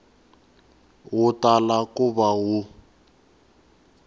wu tala ku va wu